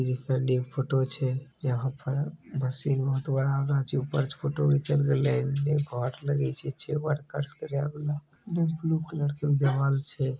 Deep photo छे यहाँ पैर मशीन बहुत बड़ा छे । ऊपर से फोटो घिचल निचे वाट लागल छे ६ वाट । गेलाइए ब्लू कलर ले दीवाल छे ।